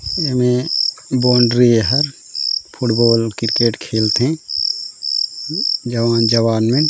एमे बाउंड्री एहा football cricket खेलथे जॉन जवान में --